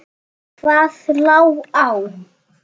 Hvað lá á?